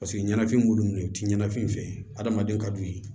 Paseke ɲɛnafin b'olu ye u tɛ ɲanafini fɛ adamaden ka d'u ye